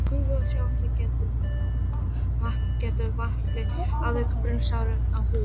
Gufa og sjóðandi vatn getur valdið alvarlegum brunasárum á húð.